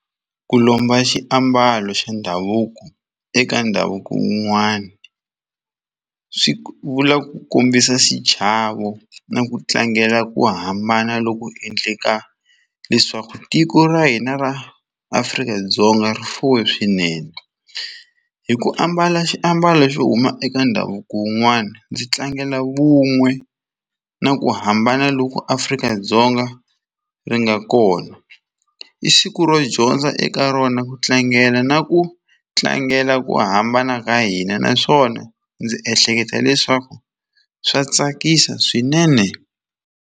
Ku lomba xiambalo xa ndhavuko eka ndhavuko wun'wana swi vula ku kombisa xichavo na ku tlangela ku hambana loku endleka leswaku tiko ra hina ra Afrika-Dzonga rifuwe swinene hi ku ambala xiambalo xo huma eka ndhavuko wun'wana ndzi tlangela vun'we na ku hambana loko Afrika-Dzonga ri nga kona i siku ro dyondza eka rona ku tlangela na ku tlangela ku hambana ka hina naswona ndzi ehleketa leswaku swa tsakisa swinene.